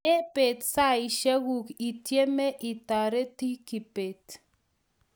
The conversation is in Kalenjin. Me beet saishek kug itieme itareti Kibet